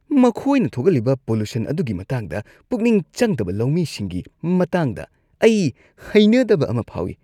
ꯃꯈꯣꯏꯅ ꯊꯣꯛꯍꯜꯂꯤꯕ ꯄꯣꯂꯨꯁꯟ ꯑꯗꯨꯒꯤ ꯃꯇꯥꯡꯗ ꯄꯨꯛꯅꯤꯡ ꯆꯪꯗꯕ ꯂꯧꯃꯤꯁꯤꯡꯒꯤ ꯃꯇꯥꯡꯗ ꯑꯩ ꯍꯩꯅꯗꯕ ꯑꯃ ꯐꯥꯎꯏ ꯫